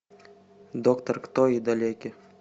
доктор кто и далеки